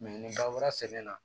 ni bagan wɛrɛ sɛgɛn na